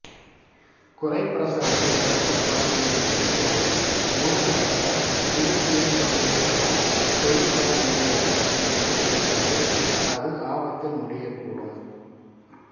குறைப்பிரசவத்தில் பிறக்கும் குழந்தையின் மூச்சுத் தொகுதி முழுமையற்ற விருத்தியைக் கொண்டிருப்பதனால் தொழிற்பட முடியாத நிலை ஏற்பட்டு அது ஆபத்தில் முடியக்கூடும்